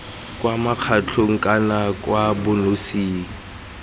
kwa mokgatlhong kana kwa bonosing